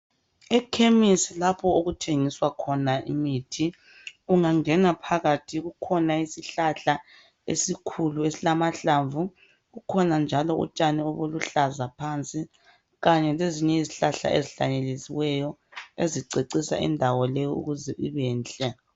Ikhemisi lapho ukuthengiswa khona imithi ungangena phakathi kukhona isihlahla esikhulu esilamahlamvu kukhona njalo utshani ubuluhlaza phansi kanye lezinye izihlahla ezihlanyeliweyo ezicecisa indawo leyi ukuthi ibenhle